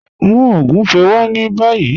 Mú ogúnfẹ̀ wá ní bàyì